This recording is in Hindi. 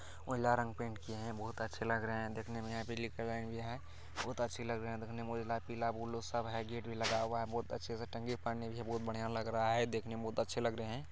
उजला रंग पेंट किया है बहोत अच्छे लग रहे हैं देखने में ये है बहोत अच्छे लग रहे हैं देखने में। उजला पीला ब्लू सब है। गेट भी लगा हुआ है बहोत अच्छे से टंगे पानी भी बहोत बढ़िया लग रहा है। देखने में बहोत अच्छे लग रहे हैं।